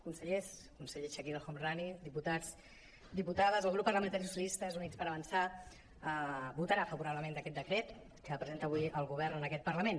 consellers conseller chakir el homrani diputats diputades el grup parlamentari socialistes · units per avançar votarà favorablement a aquest decret que presenta avui el govern en aquest parlament